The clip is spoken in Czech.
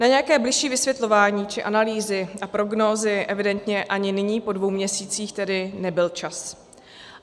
Na nějaké bližší vysvětlování či analýzy a prognózy evidentně ani nyní po dvou měsících tedy nebyl čas.